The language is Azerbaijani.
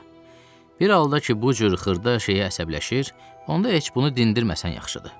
Bir halda ki, bu cür xırda şeyə əsəbləşir, onda heç bunu dindirməsən yaxşıdır.